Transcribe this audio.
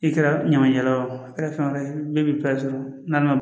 I kɛra ɲamancɛla ye o a kɛra fɛn wɛrɛ ye bɛɛ b'i n'a man